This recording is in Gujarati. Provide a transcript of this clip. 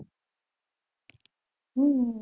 હમ